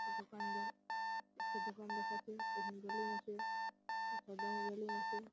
একটি দোকানদার একটি দোকান দেখাচ্ছে ।]